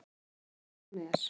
Hún er bara eins og hún er.